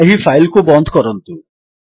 ଏହି ଫାଇଲ୍ କୁ ବନ୍ଦ କରନ୍ତୁ